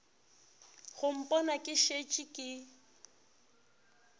go mpona ke šetše ke